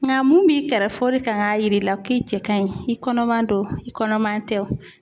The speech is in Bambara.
Nka mun b'i kan k'a yira k'i cɛ ka ɲi i kɔnɔman don i kɔnɔman tɛ wo